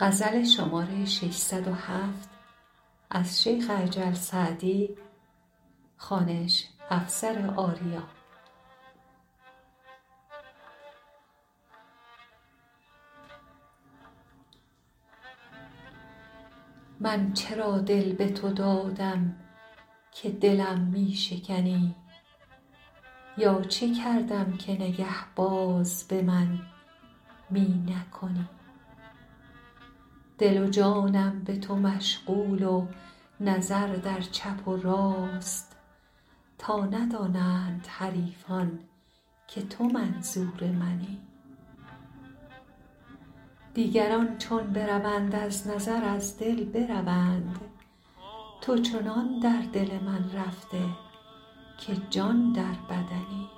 من چرا دل به تو دادم که دلم می شکنی یا چه کردم که نگه باز به من می نکنی دل و جانم به تو مشغول و نظر در چپ و راست تا ندانند حریفان که تو منظور منی دیگران چون بروند از نظر از دل بروند تو چنان در دل من رفته که جان در بدنی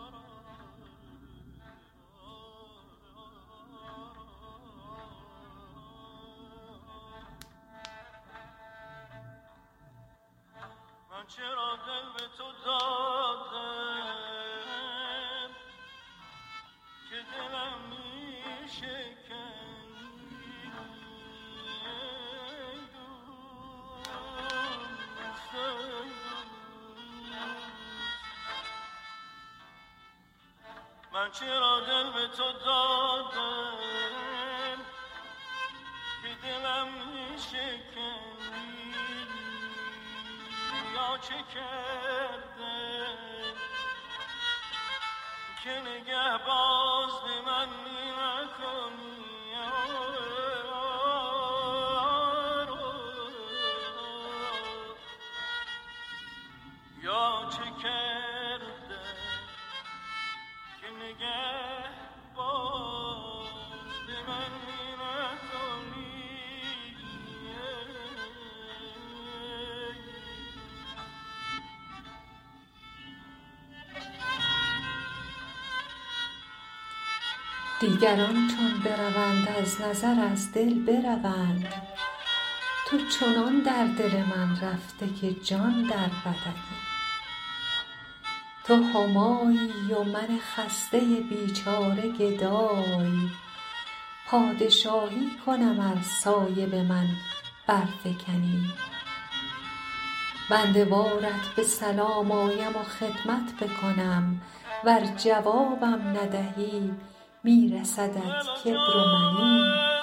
تو همایی و من خسته بیچاره گدای پادشاهی کنم ار سایه به من برفکنی بنده وارت به سلام آیم و خدمت بکنم ور جوابم ندهی می رسدت کبر و منی مرد راضیست که در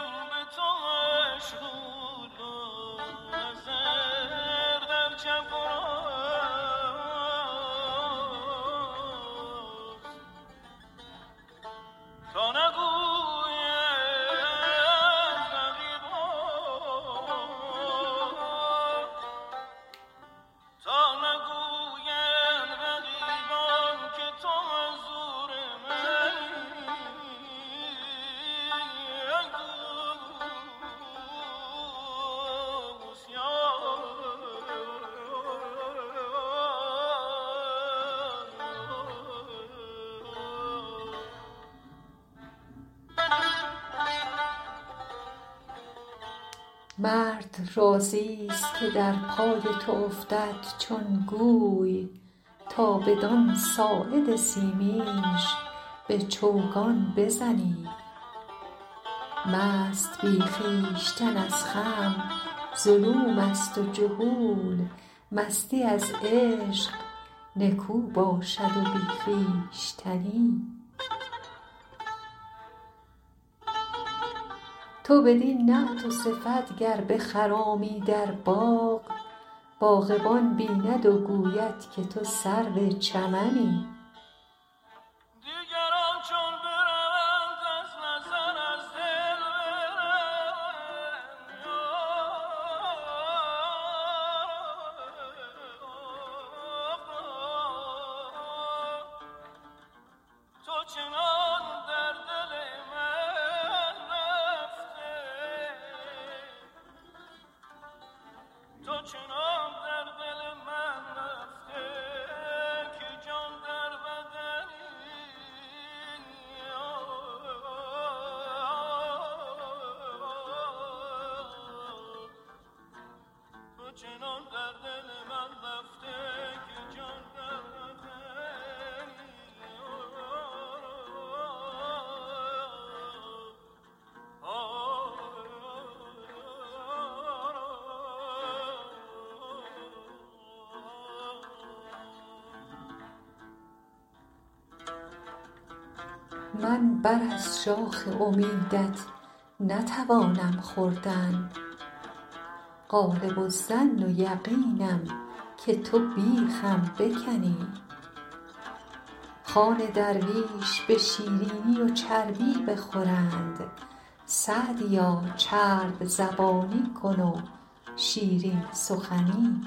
پای تو افتد چون گوی تا بدان ساعد سیمینش به چوگان بزنی مست بی خویشتن از خمر ظلوم است و جهول مستی از عشق نکو باشد و بی خویشتنی تو بدین نعت و صفت گر بخرامی در باغ باغبان بیند و گوید که تو سرو چمنی من بر از شاخ امیدت نتوانم خوردن غالب الظن و یقینم که تو بیخم بکنی خوان درویش به شیرینی و چربی بخورند سعدیا چرب زبانی کن و شیرین سخنی